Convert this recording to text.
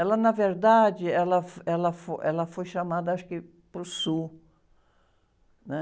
Ela, na verdade, ela, ela, ela foi chamada, acho que, para o sul, né?